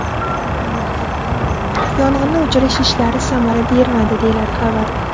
Yong‘inni o‘chirish ishlari samara bermadi”, deyiladi xabarda.